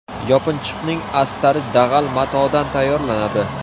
Yopinchiqning astari dag‘al matodan tayyorlanadi.